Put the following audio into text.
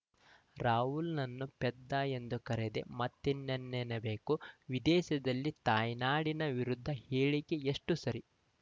ರಾಹುಲ್‌ನನ್ನು ಪೆದ್ದ ಎಂದು ಕರೆದೇ ಮತ್ತಿನ್ನೇನ್ನಬೇಕು ವಿದೇಶದಲ್ಲಿ ತಾಯ್ನಾಡಿನ ವಿರುದ್ಧ ಹೇಳಿಕೆ ಎಷ್ಟುಸರಿ